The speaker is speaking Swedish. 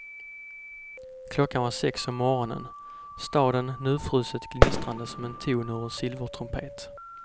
Klockan var sex om morgonen, staden nyfruset gnistrande som en ton ur silvertrumpet.